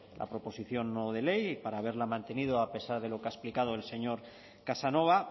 la proposición no de ley y para haberla mantenido a pesar de lo que ha explicado el señor casanova